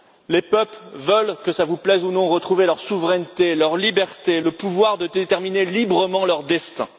Les peuples veulent que cela vous plaise ou non retrouver leur souveraineté, leur liberté, le pouvoir de déterminer librement leur destin.